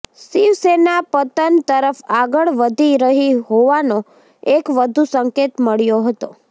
શિવસેના પતન તરફ આગળ વધી રહી હોવાનો એક વધુ સંકેત મળ્યો હતો